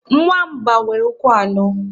Nwamba nwere ụkwụ anọ.